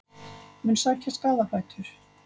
Mun sækja skaðabætur